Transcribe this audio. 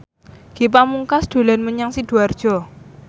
Ge Pamungkas dolan menyang Sidoarjo